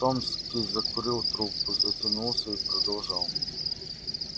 томский закурил трубку затянулся и продолжал